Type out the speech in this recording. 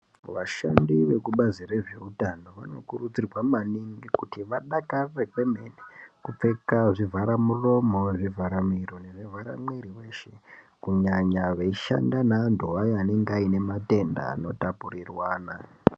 Vashandi vekubazi rezveutano vanokurudzirwa maningi kuti vadakarire kwemene kupfeka zvavharamuromo, zvivharamiro nezvivharamwiri weshe kunyanya veishanda nevantu vaya vanenge vaine matenda anotapurirwana.